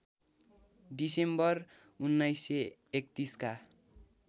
December १९३१ का